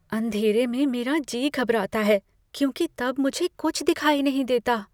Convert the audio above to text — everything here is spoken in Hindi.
अँधेरे में मेरा जी घबराता है क्योंकि तब मुझे कुछ दिखाई नहीं देता।